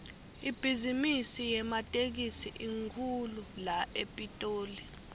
ibhizimisi yematekisi inkhulu la epitoli